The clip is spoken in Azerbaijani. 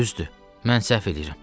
Düzdür, mən səhv eləyirəm.